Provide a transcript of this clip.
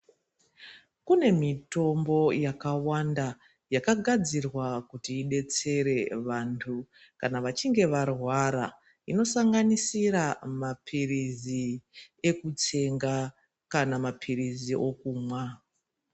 Kune mitombo yakawanda yakagadzirwa kuti idetsere vantu kana vachinge varwara inosanganisira mapirizi ekutsenga kana mapirizi okumwa.